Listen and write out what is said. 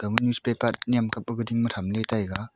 ama newspaper nyem kap ding ma tham ley taiga.